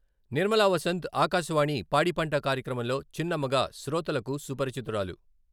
నిర్మలావసంత్ ఆకాశవాణి పాడి పంట కార్యక్రమంలో చిన్నమ్మగా శ్రోతలకు సుపరిచితురాలు.